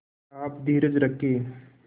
आप धीरज रखें